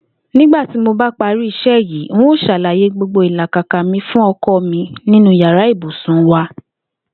Nígbà tí mo bá pari isé̩ yìí, n óò sàlàyé gbogbo ìlàkàkà fún pè̩lú o̩ko̩ mi ninu yàrá ibùsùn wa